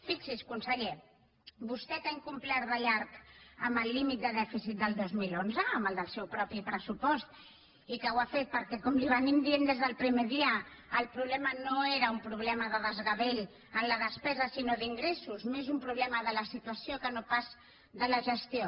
fixi’s conseller vostè que ha incomplert de llarg amb el límit de dèficit del dos mil onze amb el del seu propi pressupost i que ho ha fet perquè com li van dient des del primer dia el problema no era un problema de desgavell en la despesa sinó d’ingressos més un problema de la situació que no pas de la gestió